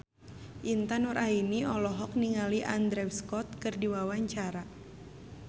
Intan Nuraini olohok ningali Andrew Scott keur diwawancara